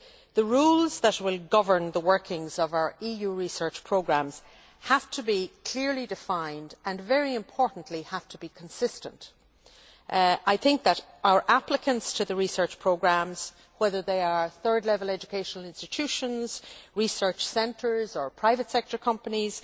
The rules that will govern the workings of our EU research programmes have to be clearly defined and, very importantly, have to be consistent. Applicants to the research programmes whether they are third level educational institutions, research centres or private sector companies